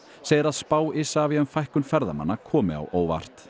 segir að spá Isavia um fækkun ferðamanna komi á óvart